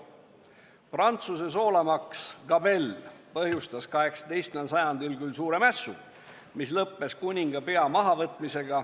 Prantsuse soolamaks gabelle põhjustas 18. sajandil suure mässu, mis lõppes kuninga pea mahavõtmisega.